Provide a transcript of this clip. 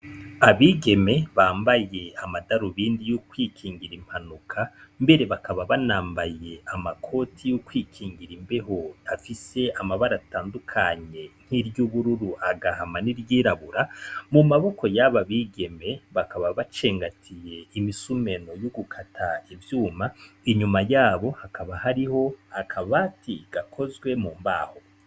Abigeme bambaye amadarubindi yo kwikingira impanuka mbere bakaba banambaye amakoti yo kwikingira imbeho afise amabara atandukanye nk'iry'ubururu, agahama, n'iryirabura . Mu maboko y'aba bigeme bakaba bacengatiye imisumeno yo gukata ivyuma, inyuma yabo hakaba hariho akabati gakozwe mu mbaho.